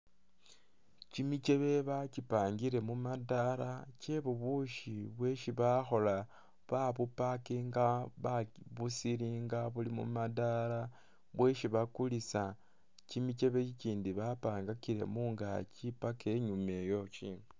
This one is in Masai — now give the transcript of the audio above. Kyimikyebe bakyipangile mumadala kye bubushi bwesi bakhola, ba buparkinga babusilinga buli mumadala bwesi bakulisa, kyimichebe ichindi ba pangakile mungakyi paka inyuma iyo ikyindi.